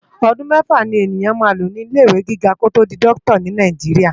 Òdún mèfá ni eniyán má ló ni ilé iwé gigá ki ó tó di Dòkitá ni Náijiriá